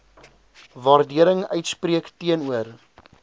waardering uitspreek teenoor